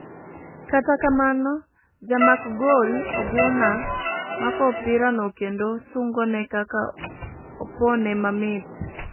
kata kamano ,jamak gol Oguna mako opira no kendo sungone kaka opone mamit.